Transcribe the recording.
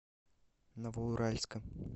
новоуральска